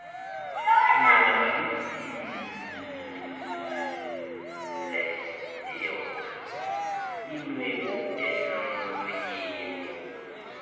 oyonakalisileyo inwebu eselmlonyeni